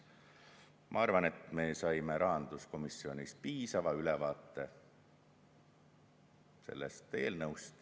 Ma arvan, et me saime rahanduskomisjonis piisava ülevaate sellest eelnõust.